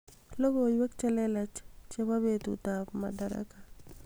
logoiwek chlelach chebo betut ab madaraka